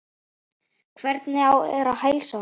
Hvernig er heilsan á honum?